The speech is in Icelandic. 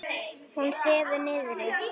Hún sefur niðri.